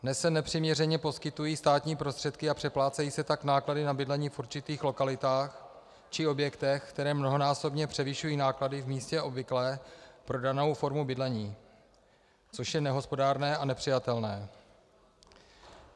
Dnes se nepřiměřeně poskytují státní prostředky a přeplácejí se tak náklady na bydlení v určitých lokalitách či objektech, které mnohonásobně převyšují náklady v místě obvyklé pro danou formu bydlení, což je nehospodárné a nepřijatelné.